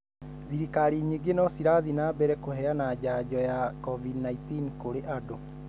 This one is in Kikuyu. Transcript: Thirikari nyingĩ no cirathi na mbere kũheana janjo ya COVID-19 kũrĩ andũ.